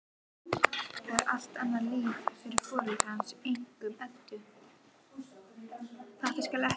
Æsa, stilltu niðurteljara á þrjátíu og sjö mínútur.